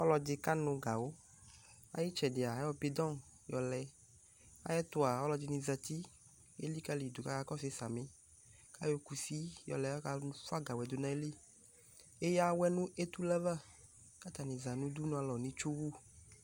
Ɔlɔdɩ kanʋ gawʋ Nʋ ayʋ ɩtsɛdɩa ayɔ bɩdɔ̃ yɔlɛ Ayɛtʋa ɔlɔdɩnɩ zati, elikǝli yɩ dʋ kʋ akakɔsʋ yɩ samɩ kʋ ayɔ kusi yɔlɛ kʋ akafʋa gawʋ yɛ dʋ nʋ ayili Eyǝ awʋɛ nʋ etule ava kʋ atanɩ za nʋ udunualɔ nʋ itsuwu